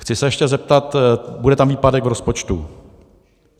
Chci se ještě zeptat - bude tam výpadek v rozpočtu.